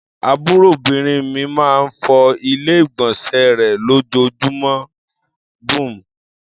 Àbúròbìnrin mi máa ń fọ Ilé-ìgbọ̀nsẹ̀ rẹ̀ lójoojúmọ́ bmm.